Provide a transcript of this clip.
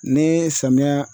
Ne samiyɛ